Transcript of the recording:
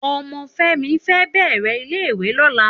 Òmò Femi fè bèrè ilé iwé lòlá